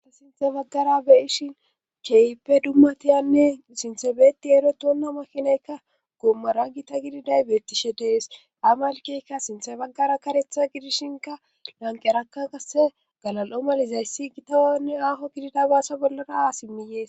Asta sinthe baggara beyishin cheype dummatiyanne sinthebeeti ero toonna makinayka goommara gita gididay beettishe dees amalkeykka sinthe baggara karetha gidishinka lanqerakka kase galal'o malizayssi gitawanne aho gidida baasa bollara aasimmiyees.